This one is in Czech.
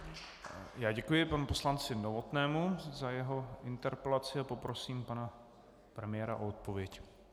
Já děkuji panu poslanci Novotnému za jeho interpelaci a poprosím pana premiéra o odpověď.